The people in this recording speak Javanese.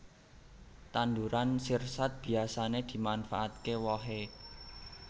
Tanduran sirsat biyasané dimanfaatké wohe